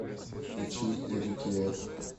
включи рики эф